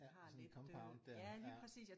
Ja sådan et compound der ja